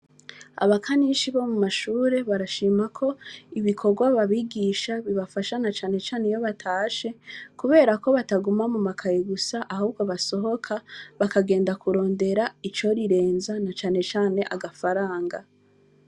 Abakanishi bo mu mashure, barashima ko ibikorwa babigisha bibafasha na cane cane iyo batashe, kubera ko bataguma mu makaye gusa, ahubwo basohoka, bakagenda kurondera icoriresha ni ukuvuga agafaranga.